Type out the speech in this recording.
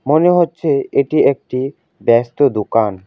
মনে হচ্ছে এটি একটি ব্যস্ত দোকান।